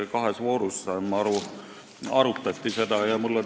Nagu ma aru saan, arutati seda kahes voorus.